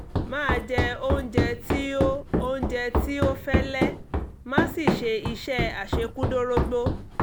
máa jẹ oúnjẹ tí ó oúnjẹ tí ó fẹ́lẹ́ má sì ṣe iṣẹ́ àṣekúdórógbó